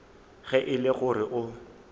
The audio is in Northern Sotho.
ge e le gore o